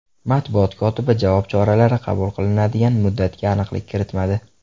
Matbuot kotibi javob choralari qabul qilinadigan muddatga aniqlik kiritmadi.